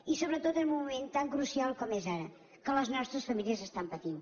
i sobretot en un moment tan crucial com és ara que les nostres famílies estan patint